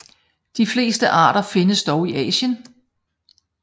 De fleste arter findes dog i Asien